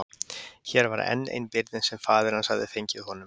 Hér var enn ein byrðin sem faðir hans hafði fengið honum.